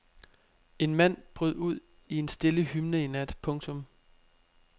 En mand brød ud i en stille hymne i nat. punktum